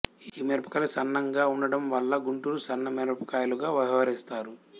ఈ మిరపకాయలు సన్నంగా ఉండడం వల్ల గుంటూరు సన్న మిరపకాయలుగా వ్యవహరిస్తారు